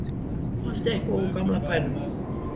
fannst eitthvað úr gamla bænum